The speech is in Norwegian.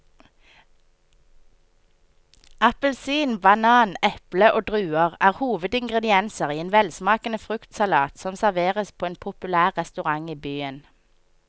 Appelsin, banan, eple og druer er hovedingredienser i en velsmakende fruktsalat som serveres på en populær restaurant i byen.